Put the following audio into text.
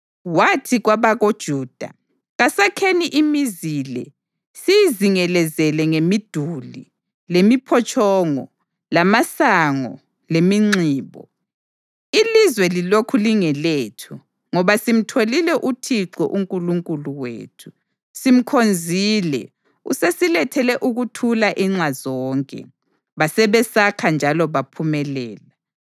Wathi kwabakoJuda, “Kasakheni imizi le siyizingelezele ngemiduli, lemiphotshongo, lamasango leminxibo. Ilizwe lilokhu lingelethu, ngoba simtholile uThixo uNkulunkulu wethu; simkhonzile usesilethele ukuthula inxa zonke.” Basebesakha njalo baphumelela.